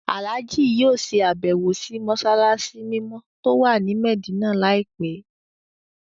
Àlájì yóò ṣe àbẹ́wò sì mọ́ṣáláṣí mímọ́ tó wà ní Mẹ̀dínà láìpẹ́